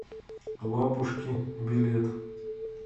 лапушки билет